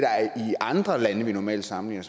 andre lande vi normalt sammenligner